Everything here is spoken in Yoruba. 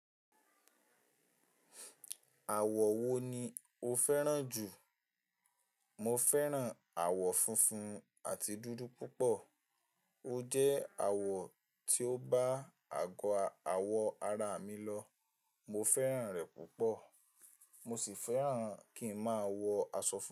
Àwọ̀ wo ni o fẹ́ràn jù? Mo fẹ́ràn àwọ̀ funfun àti dúdú púpọ̀. O jẹ́ àwọ̀ tí ó bá àgọ́ àwọ̀ ara mi lọ. Mo fẹ́ràn rẹ̀ púpọ̀. Mo sì fẹ́ràn kí ń máa wọ aṣọ funfun.